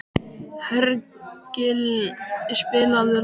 Hergill, spilaðu lag.